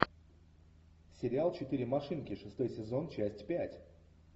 сериал четыре машинки шестой сезон часть пять